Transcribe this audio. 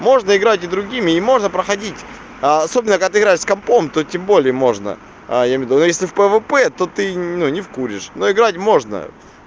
можно играть и другими и можно проходить особенно когда ты играешь с компьютером то тем более можно я имею ввиду а если в пвп то ты ну не поймёшь но играть можно